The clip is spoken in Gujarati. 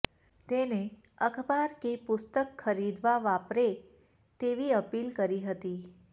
તેને અખબાર કે પુસ્તક ખરીદવા વાપરે તેવી અપીલ કરી હતી